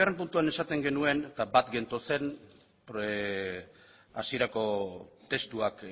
puntuan esaten genuen eta bat gentozen hasierako testuak